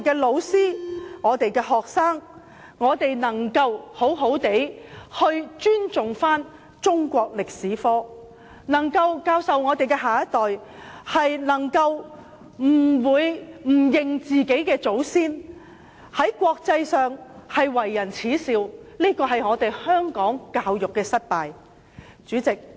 老師和學生應好好尊重中史科，我們的下一代不能不承認自己的祖先，否則便會受到國際社會所耻笑，反映香港教育制度的失敗。